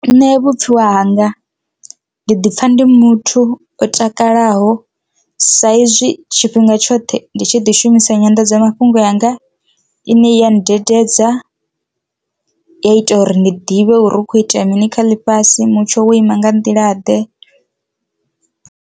Nṋe vhupfiwa hanga ndi ḓipfha ndi muthu o takalaho sa izwi tshifhinga tshoṱhe ndi tshi ḓi shumisa nyanḓadzamafhungo yanga ine ya ndededza ya ita uri ndi ḓivhe uri hukho itea mini kha ḽifhasi mutsho wo ima nga nḓila ḓe.